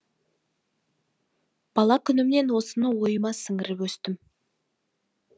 бала күнімнен осыны ойыма сіңіріп өстім